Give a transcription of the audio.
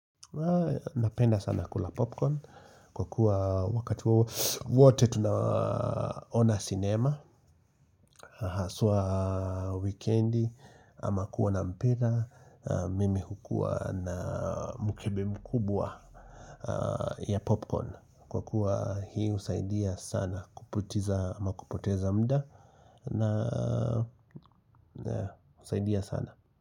Napenda sana kula popcorn kwa kuwa wakati wote tunaona sinema Haswa wikendi ama kuoana mpira mimi hukuwa na mkebe mkubwa ya popcorn kwa kuwa hii husaidia sana kuputiza ama kupoteza muda na husaidia sana.